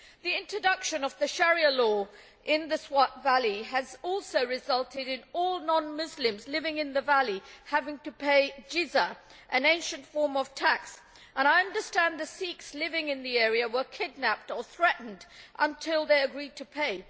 The introduction of Sharia law in the Swat Valley has also resulted in all non Muslims living in the valley having to pay an ancient form of tax, and I understand that the Sikhs living in the area were kidnapped or threatened until they agreed to pay.